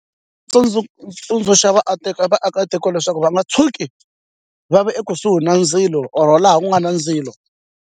tsundzuxa vaakatiko leswaku va nga tshuki va ve ekusuhi na ndzilo or laha ku nga na ndzilo.